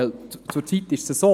Denn zurzeit ist es so: